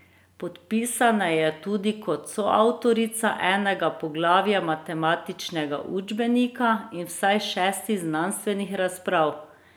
Podpisana je tudi kot soavtorica enega poglavja matematičnega učbenika in vsaj šestih znanstvenih razprav.